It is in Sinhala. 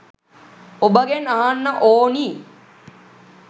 ඔබගෙන් අහන්න ඕනි.